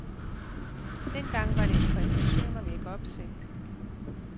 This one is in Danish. Dengang var det en præstation at vække opsigt.